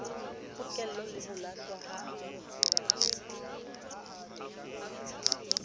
pokello le ho lahlwa ha